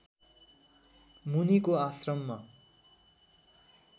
मुनिको आश्रममा